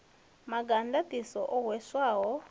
maga a ndaṱiso o hweswaho